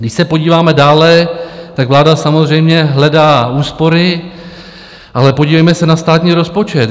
Když se podíváme dále, tak vláda samozřejmě hledá úspory, ale podívejme se na státní rozpočet.